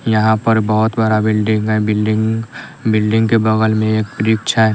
यहां पर बहोत बड़ा बिल्डिंग है बिल्डिंग बिल्डिंग के बगल में एक वृक्ष है।